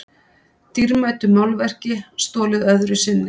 Dýrmætu málverki stolið öðru sinni